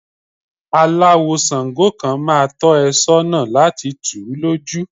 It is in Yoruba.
Aláwò ṣàǹgó kan máa tọ́ ẹ sọ́nà lati tù ú lójú.